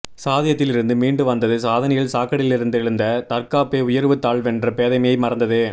சாதியத்தில் இருந்து மீண்டு வந்தது சாதனையில் சாக்கடையிலிருந்தெழுந்த தற்காப்பே உயர்வு தாழ்வென்ற பேதமையை மறந்தது